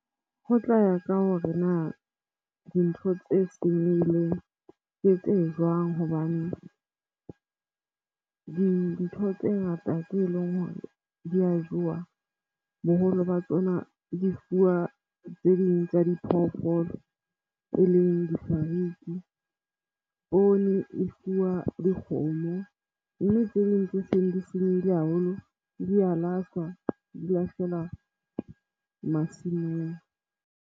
Ho tla ya ka hore na dintho tse senyehileng ke tse jwang hobane dintho tse ngata tse leng hore di a jowa, boholo ba tsona di fuwa tse ding tsa diphoofolo. E leng di-fruits-e, poone e fuwa dikgomo mme tse ding tse seng di senyehile haholo di a lahlwa, di lahlelwa masimong.